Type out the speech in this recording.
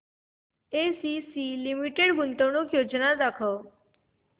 ACC limited गुंतवणूक योजना दाखव